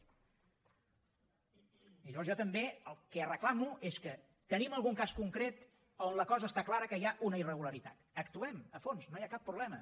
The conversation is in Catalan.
i llavors jo també el que reclamo és tenim algun cas concret on la cosa està clara que hi ha una irregularitat actuem hi a fons no hi ha cap problema